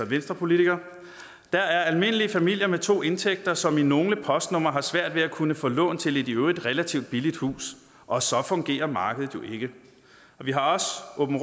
venstrepolitiker der er almindelige familier med to indtægter som i nogle postnumre har svært ved at kunne få lån til et i øvrigt relativt billigt hus og så fungerer markedet jo ikke vi har